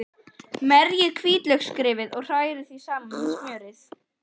Merjið hvítlauksrifið og hrærið því saman við smjörið.